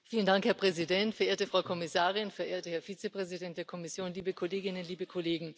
Herr Präsident, verehrte Frau Kommissarin, verehrter Herr Vizepräsident der Kommission, liebe Kolleginnen, liebe Kollegen!